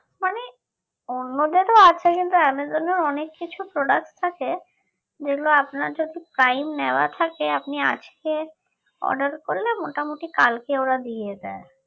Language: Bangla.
মানে অন্যদের তো আছেই কিন্তু অ্যামাজনে অনেক কিছু products আছে যেগুলো আপনার যদি time নেওয়া থাকে আপনি আজকে order করলে মোটামুটি ওরা কালকে দিয়ে দেয়